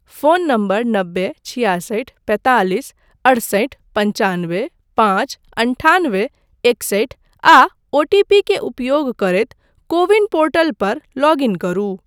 Phone number नब्बे छियासठि पैंतालिस अड़सठि पनचानबे पाँच अनठानबे एकसठि आ ओ टी पी के उपयोग करैत कोविन पोर्टल पर लॉगइन करू।